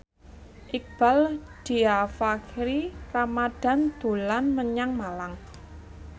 Iqbaal Dhiafakhri Ramadhan dolan menyang Malang